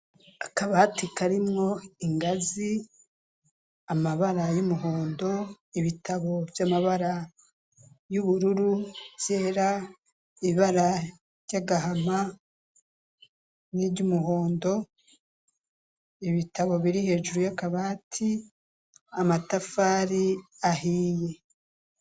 Akabati karimo ingazi amabara y'umuhondo ibitabo by'amabara y'ubururu byera ibara ry'agahama n'ivy'umuhondo ibitabo biri hejuru y'akabati amatafari ahiye.